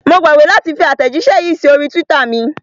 Mo gbàgbé láti fi àtẹ̀jíṣẹ́ yìí sí orí twitter mi.